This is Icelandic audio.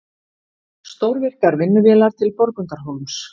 Stórvirkar vinnuvélar til Borgundarhólms